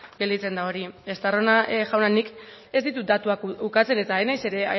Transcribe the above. gelditzen da hori estarrona jauna nik ez ditut datuak ukatzen eta ez naiz ere